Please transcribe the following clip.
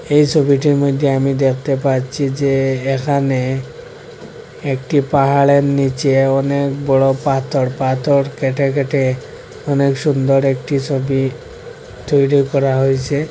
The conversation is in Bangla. এই ছবিটির মইদ্যে আমি দেখতে পাচ্ছি যে এখানে একটি পাহাড়ের নীচে অনেক বড়ো পাথর পাথর কেটে কেটে অনেক সুন্দর একটি ছবি তৈরি করা হইসে।